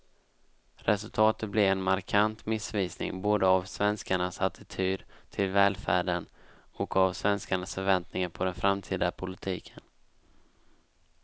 Resultatet blir en markant missvisning både av svenskarnas attityd till välfärden och av svenskarnas förväntningar på den framtida politiken.